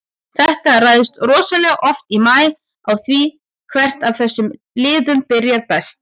Þetta ræðst rosalega oft í maí á því hvert af þessum liðum byrjar best.